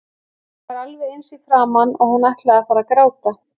Hún var alveg eins í framan og hún ætlaði að fara að gráta.